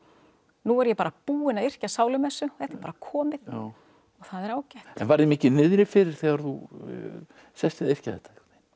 nú er ég bara búin að yrkja sálumessu þetta er bara komið og það er ágætt en var þér mikið niðri fyrir þegar þú sest við að yrkja þetta